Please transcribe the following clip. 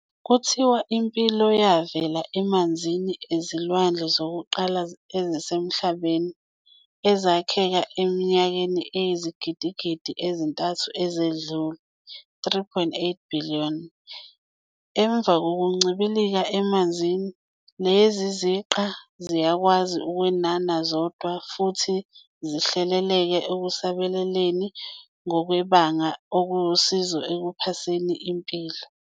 Ubengumnikazi wekilabhu yasebusuku yodumo iKippies futhi wayehlala emabhodini e-National Arts Council kanye ne-SAMRO, South African Musicians Rights Organisation.